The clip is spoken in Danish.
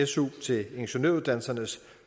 su til ingeniøruddannelsernes